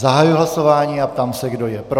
Zahajuji hlasování a ptám se, kdo je pro.